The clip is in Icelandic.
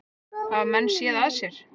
Hafa menn séð að sér?